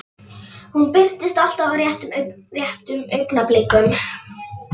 Hún birtist alltaf á réttum augnablikum.